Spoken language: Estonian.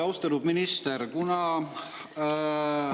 Austatud minister!